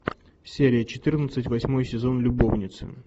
серия четырнадцать восьмой сезон любовницы